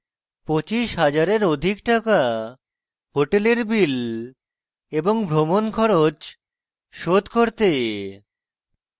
25 000 rs অধিক টাকা hotel bills এবং ভ্রমণ খরচ শোধ করতে